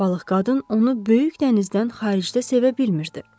Balıq qadın onu böyük dənizdən xaricdə sevə bilmirdi.